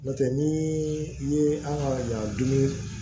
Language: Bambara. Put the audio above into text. N'o tɛ ni i ye an ka ɲan dumuni